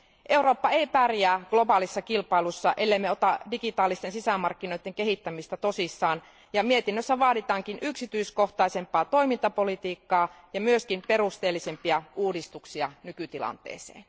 Eurooppa ei pärjää globaalissa kilpailussa, ellemme ota digitaalisten sisämarkkinoiden kehittämistä tosissaan, ja mietinnössä vaaditaankin yksityiskohtaisempaa toimintapolitiikkaa ja myös perusteellisempia uudistuksia nykytilanteeseen.